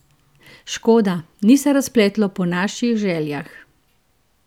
Škoda, ni se razpletlo po naših željah.